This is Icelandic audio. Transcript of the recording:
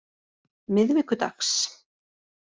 miðvikudags